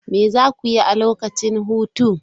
Me za ku yi a lokacin hutu?